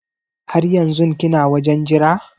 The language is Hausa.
Har yanzun kina wajen Jira?